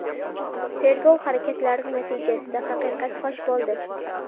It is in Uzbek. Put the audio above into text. Tergov harakatlari natijasida haqiqat fosh bo‘ldi.